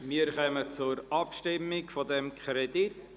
Wir kommen zur Abstimmung über diesen Kredit.